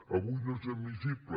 avui no és admissible